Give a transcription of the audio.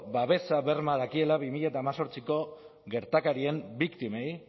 babesa berma dakiela bi mila hemezortziko gertakarien biktimei